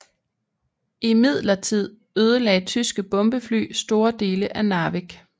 Imidlertid ødelagde tyske bombefly store dele af Narvik